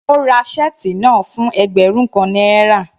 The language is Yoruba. Ó ra shirt náà fún ẹgbẹ́rún kan náírà.